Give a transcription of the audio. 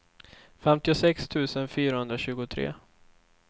femtiosex tusen fyrahundratjugotre